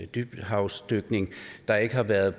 dybhavsdykning der ikke har været